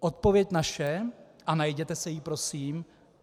Odpověď naše, a najděte si ji, prosím.